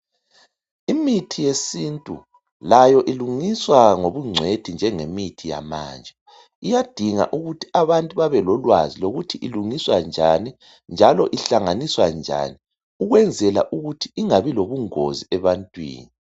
Imithi yesintu layo ilungiswa ngobungcwethi njengemithi yamanje, iyadinga ukuthi abantu babelolwazi lokuthi ilungiswa njani njalo ihlanganiswa njani ukwenzela ukuthi ingabi lobungozi ebantwini.